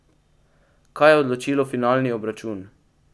Kaj je odločilo finalni obračun?